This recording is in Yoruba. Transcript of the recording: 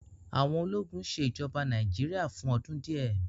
àwọn ólogun ṣe ijọba Nàìjíríà fun ọdun diẹ